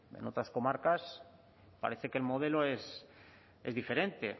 es en otras comarcas parece que el modelo es diferente